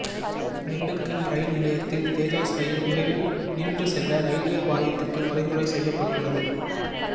Dindigul rail நிலையத்தில் Tejas rail விரைவில் நின்று செல்ல ரயில்வே வாரியத்துக்கு பரிந்துரை செய்யப்பட்டுள்ளது